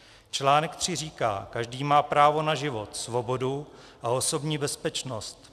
Článek 3 říká: Každý má právo na život, svobodu a osobní bezpečnost.